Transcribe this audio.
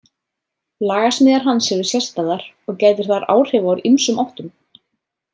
Lagasmíðar hans eru sérstæðar og gætir þar áhrifa úr ýmsum áttum.